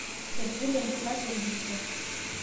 etigile enkilasi oldirisha